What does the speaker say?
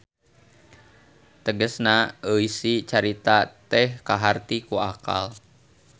Tegesna eusi caritana teh kaharti ku akal.